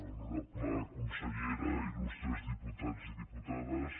honorable consellera il·lustres diputats i diputades